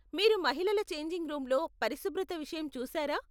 మీరు మహిళల ఛేంజింగ్ రూమ్లో పరిశుభ్రత విషయం చూసారా?